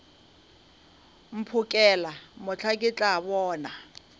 mphokela mohla ke tla bona